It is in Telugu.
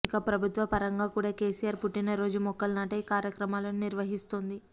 ఇక ప్రభుత్వ ప రంగా కూడా కేసీఆర్ పుట్టిన రోజు మొక్కలు నాటే కా ర్యక్రమాలను నిర్వహిస్తోంది